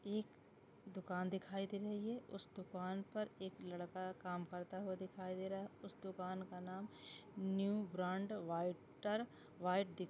एक दुकान दिखाई दे रही है उस दुकान पर एक लड़का काम करते हुए दिखाई दे रहा है उस दुकान का नाम न्यू ब्रांड वायटर व्हाइट --